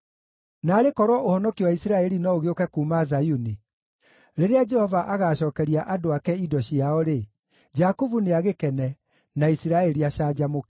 Naarĩ korwo ũhonokio wa Isiraeli no ũgĩũke kuuma Zayuni! Rĩrĩa Jehova agaacookeria andũ ake indo ciao-rĩ, Jakubu nĩagĩkene, na Isiraeli acanjamũke.